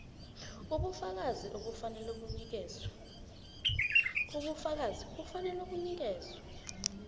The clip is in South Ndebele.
ubufakazi kufanele bunikelwe